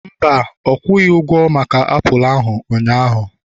mba, ọ kwughị ụgwo maka apụl ụnyahụ